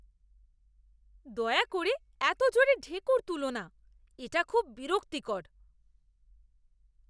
দয়া করে এত জোরে ঢেঁকুর তুলো না, এটা খুব বিরক্তিকর।